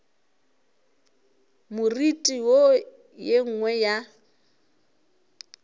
moriti wo ye nngwe ya